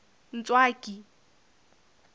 ntswaki